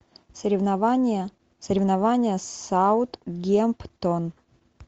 соревнования соревнования саутгемптон